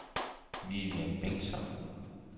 Vivian Bengtsson